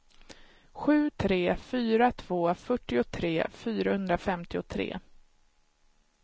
sju tre fyra två fyrtiotre fyrahundrafemtiotre